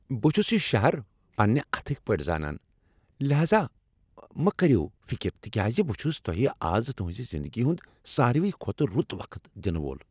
بہٕ چُھس یہٕ شہر پننہ اتھٕکۍ پٲٹھۍ زانان، لہذا مہٕ کٔرِو فِکر تِکیازِ بہ چُھس تۄہہ از تُہنزِ زندگی ہُند ساروٕے کھۄتہٕ رُت وقت دِنہٕ وول۔